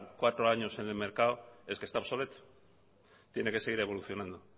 cuatro años en el mercado es que está obsoleto tiene que seguir evolucionando